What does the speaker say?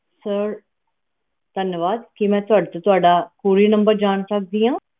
ਧੰਨਵਾਦ ਕਿ ਮੈਂ ਤੁਹਾਡੇ ਤੋਂ ਤੁਹਾਡਾ couriernumber ਜਾਂ ਸਕਦੀ ਆ